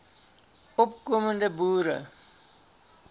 opko mende boere